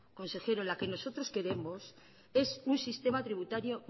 consejero la que nosotros queremos es un sistema tributario